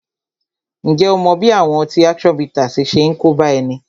Ǹjẹ́ ó mọ bí àwọn ọtí action bittersi ṣe ń kóbá ẹni?